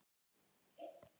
Að hverju hlærðu?